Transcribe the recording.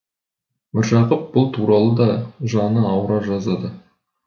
міржақып бұл туралы да жаны ауыра жазады